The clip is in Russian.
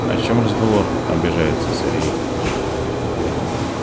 о чём разговор обижается сергей